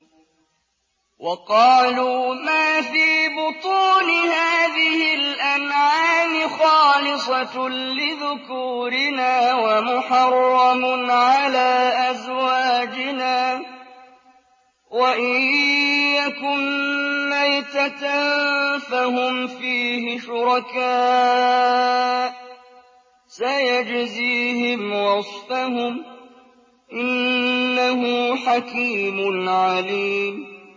وَقَالُوا مَا فِي بُطُونِ هَٰذِهِ الْأَنْعَامِ خَالِصَةٌ لِّذُكُورِنَا وَمُحَرَّمٌ عَلَىٰ أَزْوَاجِنَا ۖ وَإِن يَكُن مَّيْتَةً فَهُمْ فِيهِ شُرَكَاءُ ۚ سَيَجْزِيهِمْ وَصْفَهُمْ ۚ إِنَّهُ حَكِيمٌ عَلِيمٌ